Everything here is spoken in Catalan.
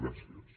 gràcies